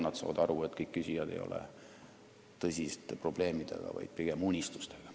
Nad saavad aru, et kõikidel küsijatel ei ole tõsised probleemid, vaid pigem unistused.